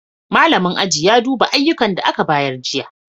Malamin aji ya duba ayyukan da aka ba jiya.